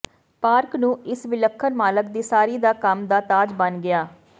park ਨੂੰ ਇਸ ਵਿਲੱਖਣ ਮਾਲਕ ਦੀ ਸਾਰੀ ਦਾ ਕੰਮ ਦਾ ਤਾਜ ਬਣ ਗਿਆ